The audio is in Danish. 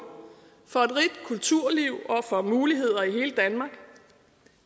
for et rigt kulturliv og for muligheder i hele danmark